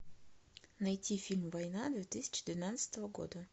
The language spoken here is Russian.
найти фильм война две тысячи двенадцатого года